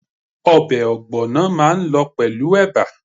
Obè ògbònà máa n lo pèlú eba